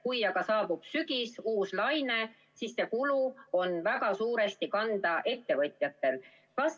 Kui aga saabub sügis, uus laine, siis jääb see kulu väga suuresti ettevõtjate kanda.